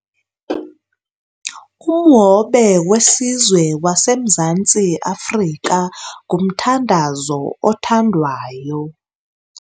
Umhobe wesizwe waseMzantsi Afrika ngumthandazo othandwayo.